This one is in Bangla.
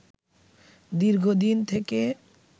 দীর্ঘদিন থেকে